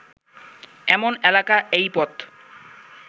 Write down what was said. এমন একলা এই পথ